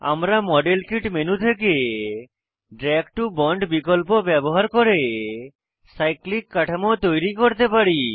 আমরা model kit menu থেকে drag to bond বিকল্প ব্যবহার করে সাইক্লিক সাইক্লিক কাঠামো তৈরী করতে পারি